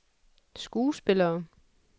skuespillere